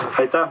Aitäh!